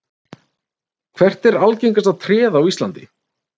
Hvert er algengasta tréð á Íslandi?